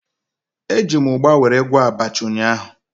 Eji m ugba were gwọọ abacha ụnyaahụ